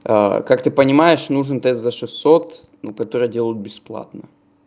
как ты понимаешь нужен тест за шестьсот но которой делают бесплатно